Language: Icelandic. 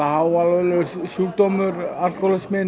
háalvarlegur sjúkdómur